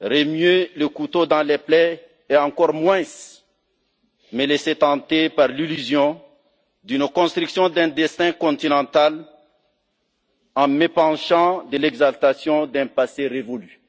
remuer le couteau dans les plaies et encore moins me laisser tenter par l'illusion d'une construction d'un destin continental en m'épanchant de l'exaltation d'un passé révolu.